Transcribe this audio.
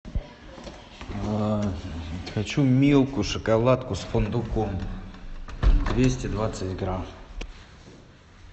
хочу милку шоколадку с фундуком двести двадцать грамм